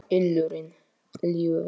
ylurinn ljúfi.